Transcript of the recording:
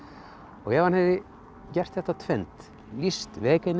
ef hann hefði gert þetta tvennt lýst